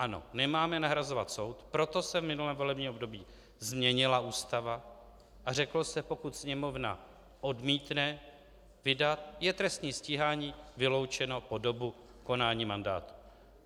Ano, nemáme nahrazovat soud, proto se v minulém volebním období změnila Ústava a řeklo se: "Pokud Sněmovna odmítne vydat, je trestní stíhání vyloučeno po dobu konání mandátu."